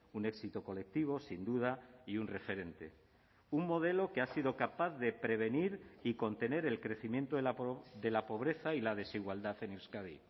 un éxito colectivo sin duda y un referente un modelo que ha sido capaz de prevenir y contener el crecimiento de la pobreza y la desigualdad en euskadi